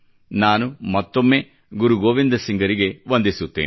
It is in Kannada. ನಾನು ಮತ್ತೊಮ್ಮೆ ಗುರು ಗೋವಿಂದ ಸಿಂಗರಿಗೆ ವಂದಿಸುತ್ತೇನೆ